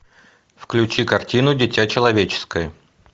включи картину дитя человеческое